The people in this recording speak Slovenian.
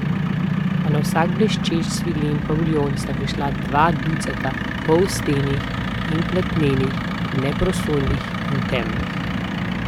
A na vsak bleščeč svilen paviljon sta prišla dva ducata polstenih in platnenih, neprosojnih in temnih.